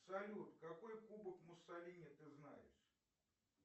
салют какой кубок муссолини ты знаешь